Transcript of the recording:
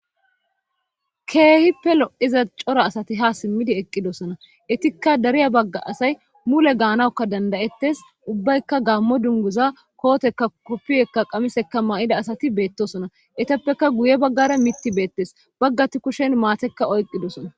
Keehippe lo'iza cora asati ha simmidi eqqidosona etikka dariya bagga asay mule gaanawukka dandayettes ubbaykka gammo dunguza kootekka koppiyekka qamisekka ma7ida asati beettosona etappeka guye baggara mitti beettes baggati kushen maatekka oyqqidosona.